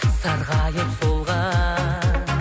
сарғайып солған